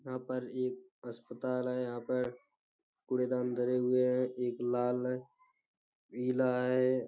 यहाँ पर एक अस्पताल है यहाँ पर कूड़ेदान धरे हुए हैं एक लाल है पीला है।